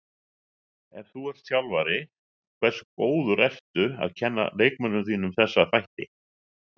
Ef þú ert þjálfari, hversu góður ertu að kenna leikmönnunum þínum þessa þætti?